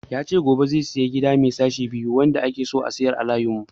Ya ce zai sayi Gida mai sashe biyu wanda ake so a sayar a layin mu.